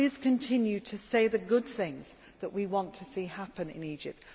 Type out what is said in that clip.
Please continue to say the good things that we want to see happen in Egypt.